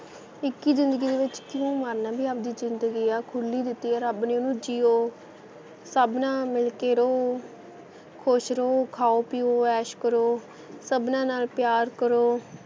ਇੱਕ ਹੀ ਜ਼ਿੰਦਗੀ ਦੇ ਵਿੱਚ ਕਿਉਂ ਮਰਨਾ ਵੀ ਆਪ ਦੀ ਜਿੰਦਗੀ ਆ ਖੁੱਲੀ ਦਿੱਤੀ ਆ ਰੱਬ ਨੇ ਓਹਨੂੰ ਜਿਓ ਸਭ ਨਾਲ ਮਿਲਕੇ ਰਹੋ ਖੁਸ਼ ਰਹੋ ਖਾਓ ਪੀਓ ਐਸ਼ ਕਰੋ ਸਭਨਾ ਨਾਲ ਪਿਆਰ ਕਰੋ,